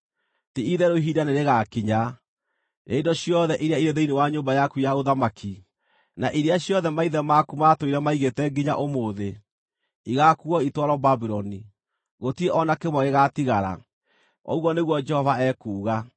Ti-itherũ ihinda nĩrĩgakinya, rĩrĩa indo ciothe iria irĩ thĩinĩ wa nyũmba yaku ya ũthamaki, na iria ciothe maithe maku matũire maigĩte nginya ũmũthĩ, igaakuuo itwarwo Babuloni. Gũtirĩ o na kĩmwe gĩgaatigara. Ũguo nĩguo Jehova ekuuga.